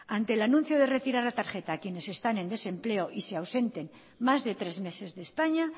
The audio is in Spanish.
ante el anuncio de retirar la tarjeta a quienes están en desempleo y se ausenten más de tres meses de españa